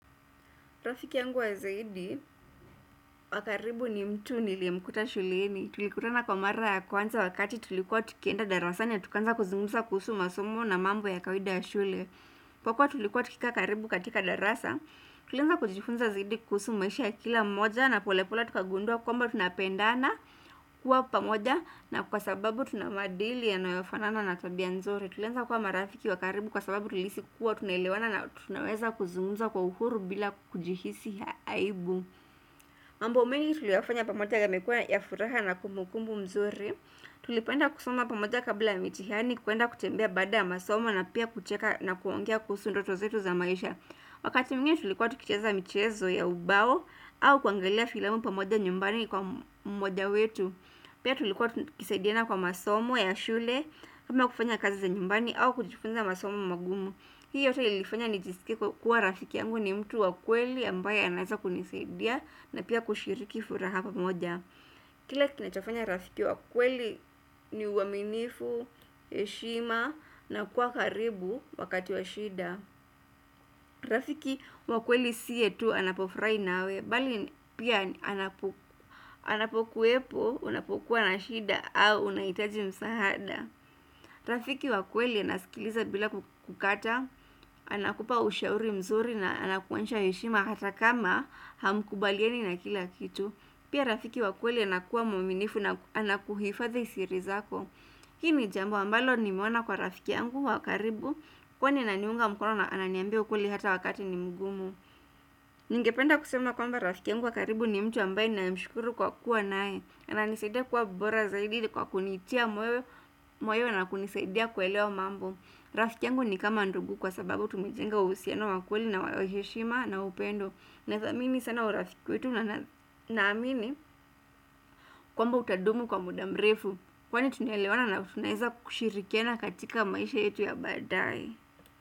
Rafiki yangu wa zaidi, wakaribu ni mtu nilimkuta shuleni. Tulikutana kwa mara ya kwanza wakati tulikuwa tukienda darasani na tukaanza kuzungumsa kuhusu masomo na mambo ya kawaida ya shule. Kwa kuwa tulikuwa tukikaa karibu katika darasa, tulianza kujifunza zaidi kuhusu maisha ya kila mmoja na polepole tukagundua kwamba tunapendana kuwa pamoja na kwa sababu tunamaadili yanayofanana na tabia nzuri. Tulianza kuwa marafiki wakaribu kwa sababu tulihisi kuwa tunaelewana na tunaweza kuzungumza kwa uhuru bila kujihisi aibu mambo mengi tuliyafanya pamoja yamekuwa ya furaha na kumbukumbu mzuri Tulipenda kusoma pamoja kabla ya mitihani, kuenda kutembea baada ya masomo na pia kucheka na kuongea kuhusu ndoto zetu za maisha Wakati mwingine tulikuwa tukicheza michezo ya ubao au kuangalia filamu pamoja nyumbani kwa mmoja wetu Pia tulikuwa tukisaidiana kwa masomo ya shule, ama kufanya kazi za nyumbani au kujifunza masomo magumu Hii yote ilifanya nijiskie kuwa rafiki yangu ni mtu wa kweli ambaye anaeza kunisaidia na pia kushiriki furaha pa moja Kila kinachofanya rafiki wa kweli ni uaminifu, heshima na kuwa karibu wakati wa shida Rafiki wa kweli siye tu anapofurahi nawe Bali pia anapokuwepo unapokuwa na shida au unahitaji msahada Rafiki wakweli anaskiliza bila kukata Anakupa ushauri mzuri na anakuonyesha heshima hata kama hamkubaliani na kila kitu Pia rafiki wakweli anakuwa mwaminifu na anakuhifadhi sirizako hii ni jambo ambalo ni meona kwa rafiki yangu wakaribu Kwani ananiunga mkono na ananiambia ukweli hata wakati ni mgumu Ningependa kusema kwamba rafiki yangu wakaribu ni mtu ambaye ninayemshukuru kwa kuwa naye ananisaidia kuwa bora zaidi kwa kunitia moyo na kunisaidia kuelewa mambo Rafiki yangu ni kama ndugu kwa sababu tumejenga uhusiano wa kweli na waheshima na upendo na thamini sana urafiki wetu na amini kwamba utadumu kwa muda mrefu Kwani tunaelewana na tunaeza kushirikiana katika maisha yetu ya baadae.